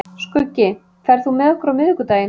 Skuggi, ferð þú með okkur á miðvikudaginn?